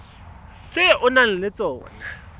tse o nang le tsona